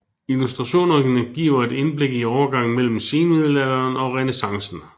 Illustrationerne giver et indblik i overgangen mellem senmiddelalderen og renæssancen